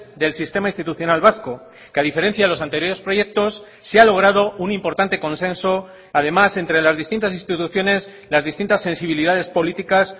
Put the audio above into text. del sistema institucional vasco que a diferencia de los anteriores proyectos se ha logrado un importante consenso además entre las distintas instituciones las distintas sensibilidades políticas